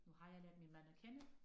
Nu har jeg lært min mand at kende